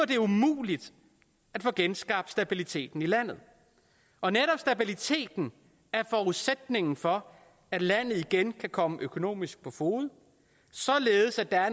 det umuligt at få genskabt stabiliteten i landet og netop stabiliteten er forudsætningen for at landet igen kan komme økonomisk på fode således at der